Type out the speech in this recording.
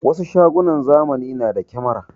Wasu shagunan zamani na da kyamara.